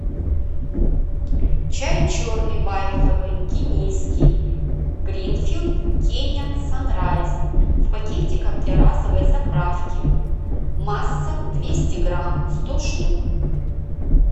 чай черный байховый кенийский гринфилд кениан санрайз в пакетиках для разовой заправки масса двести грамм сто штук